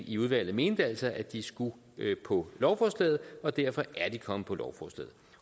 i udvalget mente altså at de skulle på lovforslaget og derfor er de kommet på lovforslaget